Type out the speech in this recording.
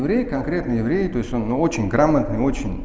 еврей конкретно еврей то есть он ну очень грамотный очень